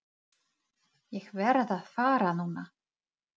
Ég verð að fara núna!